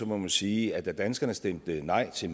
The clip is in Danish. må man sige at da danskerne stemte nej til